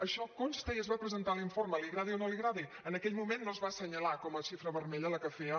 això consta i es va presentar a l’informe li agradi o no li agradi en aquell moment no es va assenyalar com a xifra vermella la que feia